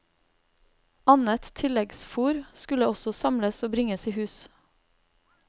Annet tilleggsfór skulle også samles og bringes i hus.